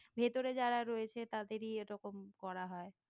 ভেতরে যারা রয়েছে তাদেরই এরকম করা হয়?